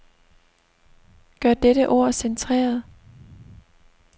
Gør dette ord centreret.